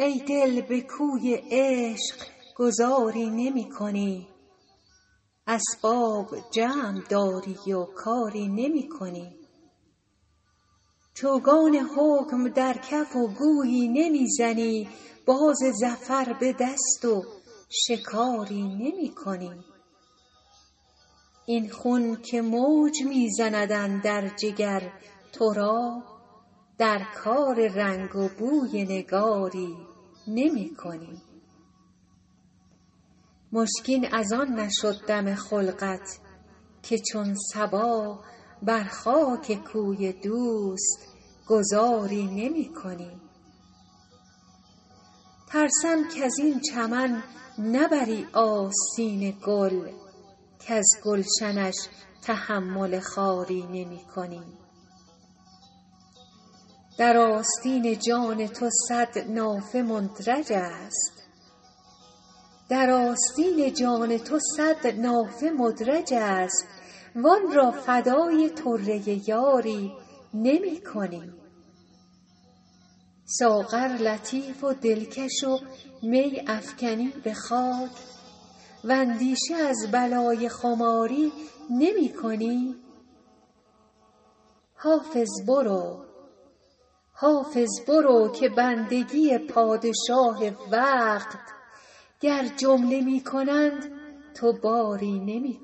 ای دل به کوی عشق گذاری نمی کنی اسباب جمع داری و کاری نمی کنی چوگان حکم در کف و گویی نمی زنی باز ظفر به دست و شکاری نمی کنی این خون که موج می زند اندر جگر تو را در کار رنگ و بوی نگاری نمی کنی مشکین از آن نشد دم خلقت که چون صبا بر خاک کوی دوست گذاری نمی کنی ترسم کز این چمن نبری آستین گل کز گلشنش تحمل خاری نمی کنی در آستین جان تو صد نافه مدرج است وآن را فدای طره یاری نمی کنی ساغر لطیف و دلکش و می افکنی به خاک واندیشه از بلای خماری نمی کنی حافظ برو که بندگی پادشاه وقت گر جمله می کنند تو باری نمی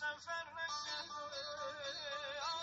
کنی